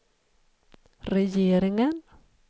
regeringen